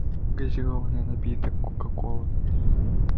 газированный напиток кока кола